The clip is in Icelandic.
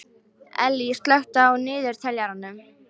Ellý, slökktu á niðurteljaranum.